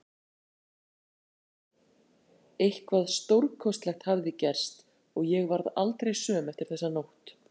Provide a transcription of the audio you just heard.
Eitthvað stórkostlegt hafði gerst og ég varð aldrei söm eftir þessa nótt.